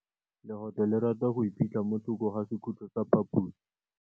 Legôtlô le rata go iphitlha mo thokô ga sekhutlo sa phaposi.